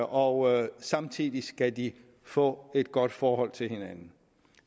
og samtidig skal de få et godt forhold til hinanden